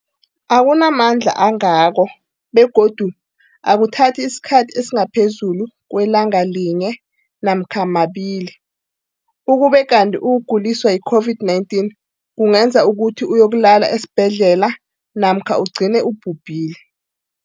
akuna mandla angako begodu akuthathi isikhathi esingaphezulu kwelanga linye namkha mabili, ukube kanti ukuguliswa yi-COVID-19 kungenza ukuthi uyokulala esibhedlela namkha ugcine ubhubhile.